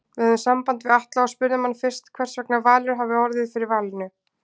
Við höfðum samband við Atla og spurðum hann fyrst hversvegna Valur hafi orðið fyrir valinu?